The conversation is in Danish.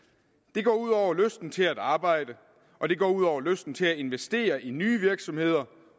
det går ud over lysten til at arbejde og det går ud over lysten til at investere i nye virksomheder